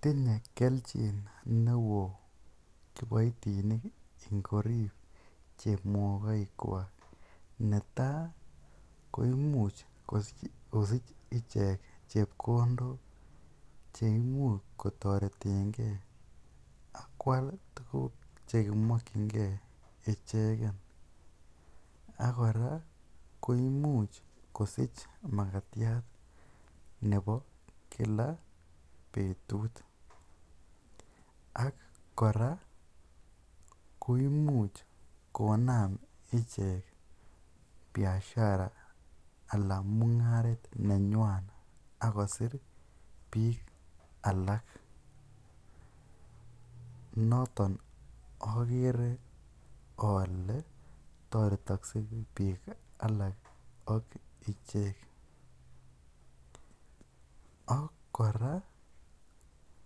Tinye kelchin neo kiboitinik ngorib chemokoikkwak, netai koimuch kosich ichek chepkondok che imuch kotoretenge ak koal tuguk chemokinge icheget. Ak kora koimuch kosich magatiat nebo kila betut ak kora koimuch konam ichek biashara anan mung'aret nenywan ak kosir alak. Noton ogere ole toretokse biik alak ak ichek. Ak kora